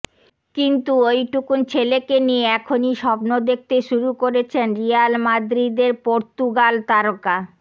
কিন্তু ওইটুকুন ছেলেকে নিয়ে এখনই স্বপ্ন দেখতে শুরু করেছেন রিয়াল মাদ্রিদের পর্তুগাল তারকা